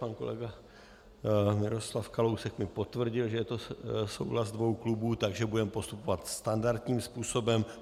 Pan kolega Miroslav Kalousek mi potvrdil, že je to souhlas dvou klubů, takže budeme postupovat standardním způsobem.